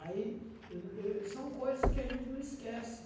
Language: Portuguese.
Aí são coisas que a gente não esquece.